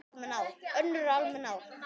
Önnur ár eru almenn ár.